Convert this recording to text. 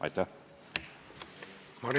Aitäh!